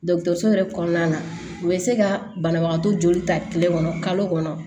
Dɔgɔtɔrɔso yɛrɛ kɔnɔna na u bɛ se ka banabagatɔ joli ta tile kɔnɔ kalo kɔnɔ